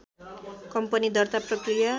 company दर्ता प्रक्रिया